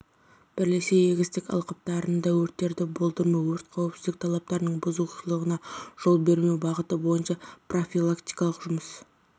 бірлесе егістік алқаптарында өрттерді болдырмау өрт қауіпсіздік талаптарының бұзушылығына жол бермеу бағыты бойынша профилактикалық жұмыс